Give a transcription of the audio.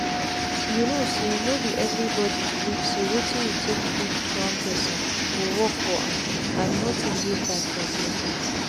you know sayno be everybody belief say wetin you take treat one person go work for am and nothing dey bad for there.